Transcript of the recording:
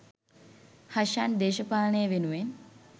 හෂාන් දේශපාලනය වෙනුවෙන්